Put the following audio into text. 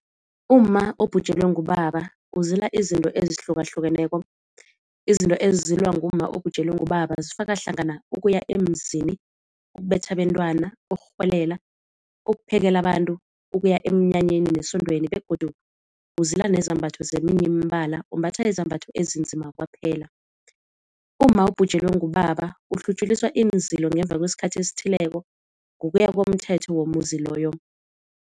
Umma obhujelwe ngubaba uzila izinto ezihlukahlukeneko. Izinto ezizilwa ngumma obhujelwe ngubaba zifaka hlangana ukuya emzini, ukubetha abentwana, ukurhwelela, ukuphekela abantu, ukuya emnyanyeni nesondweni begodu uzila nezambatho zeminye imbala umbatha izambhatho ezinzima kwaphela. Umma obhujelwe ngubaba uhlutjuliswa iinzilo ngemva kwesikhathi esithileko ngokuya komthetho womuzi loyo.